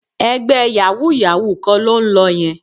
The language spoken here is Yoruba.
Ẹgbẹ́ yàwúú-yàwuù kan ló ń lọ yẹn